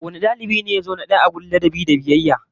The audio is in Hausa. Wane dalibi ne ya zo na daya wajen ladabi da biyayya?